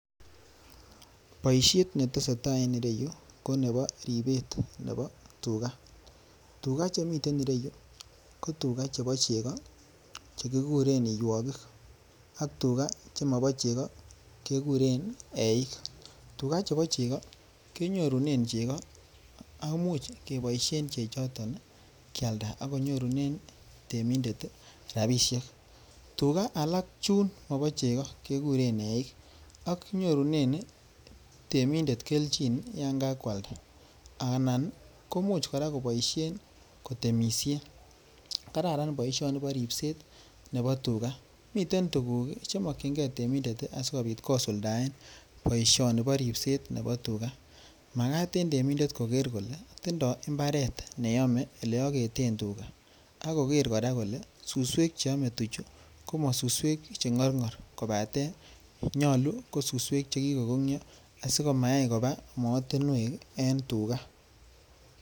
Boishet netesetaa en ireyuu ko nebo ribet nebo tukaa, tukaa chemiten ireyuu ko tukaa chebo chekoo chekikuren iywokik ak tukaa chemobo chekoo kekuren eiik, tukaa chebo chekoo kenyorunen chekoo ak ko imuuch keboishen chechoton kialda ak konyorunen temindet rabishek, tukaa alak chuun mobo chekoo kekuren eiik ak nyorunen temindet kelchin yoon kakwalda anan komuuch kora koboishen kotemishen, kararan boishoni boo ribset Nebo tukaa, miten tukuk chemokying'ee temindet asikobiit kosuldaen boishoni boo ribset nebo tukaa, makaat en temindet kokeer kolee tindoi imbaret neyome ne oketen tukaa ak kokeer kora kolee suswek cheome tukaa ko mosuswek che ng'orng'or kobaten nyolu ko suswek che kikokongyo asikomayai kobaa mootinwek en tukaa.